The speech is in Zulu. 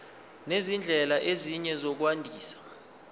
nezindlela ezinye zokwandisa